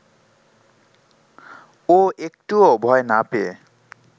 ও একটুও ভয় না পেয়ে